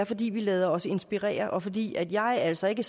fordi vi lader os inspirere og fordi jeg altså ikke